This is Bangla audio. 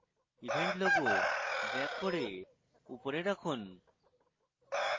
event logo drag করে উপরে রাখুন